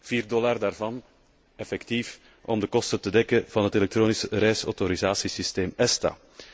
Vier dollar daarvan dient effectief om de kosten te dekken van het elektronisch reisautorisatiesysteem ESTA.